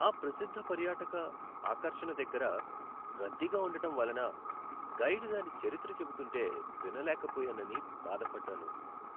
ఆ ప్రసిద్ధ పర్యాటక ఆకర్షణ దగ్గర రద్దీగా ఉండటం వలన గైడ్ దాని చరిత్ర చెబుతుంటే వినలేకపోయానని బాధపడ్డాను.